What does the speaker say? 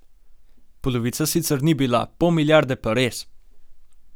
Polovica sicer ni bila, pol milijarde pa res.